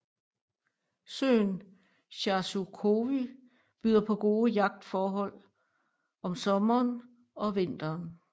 Søen Charzykowy byder på gode yachtforhold om sommeren og vinteren